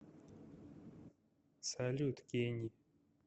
салют кенни